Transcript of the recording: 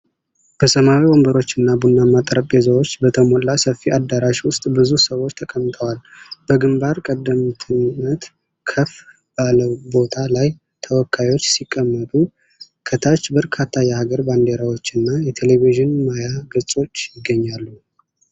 በሰማያዊ ወንበሮችና ቡናማ ጠረጴዛዎች በተሞላ ሰፊ አዳራሽ ውስጥ ብዙ ሰዎች ተቀምጠዋል። በግምባር ቀደምትነት ከፍ ባለ ቦታ ላይ ተወካዮች ሲቀመጡ፣ ከታች በርካታ የሀገር ባንዲራዎችና የቴሌቪዥን ማያ ገጾች ይገኛሉ።